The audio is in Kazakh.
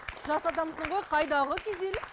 жас адамсың ғой қайдағы күйзеліс